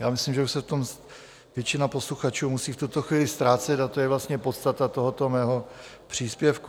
Já myslím, že už se v tom většina posluchačů musí v tuto chvíli ztrácet, a to je vlastně podstata tohoto mého příspěvku.